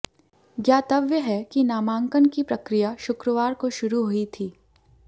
ज्ञातव्य है कि नामांकन की प्रक्रिया शुक्रवार को शुरू हुई थी